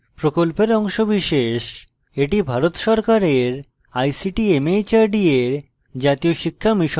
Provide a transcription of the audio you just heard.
এটি ভারত সরকারের ict mhrd এর জাতীয় শিক্ষা mission দ্বারা সমর্থিত